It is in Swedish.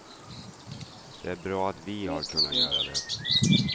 Det är bra att vi har kunnat göra det.